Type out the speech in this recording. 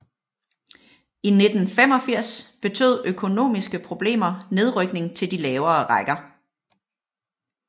I 1985 betød økonomiske problemer nedrykning til de lavere rækker